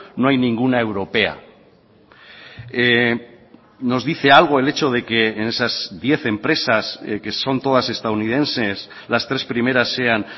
no hay ninguna europea nos dice algo el hecho de que en esas diez empresas que son todas estadounidenses las tres primeras sean